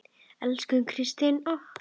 Elsku Kristín okkar.